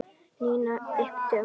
Nína yppti öxlum.